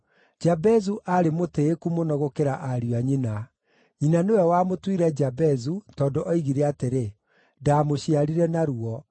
Jabezu aarĩ mũtĩĩku mũno gũkĩra ariũ a nyina. Nyina nĩwe wamũtuire Jabezu, tondũ oigire atĩrĩ, “Ndaamũciarire na ruo.”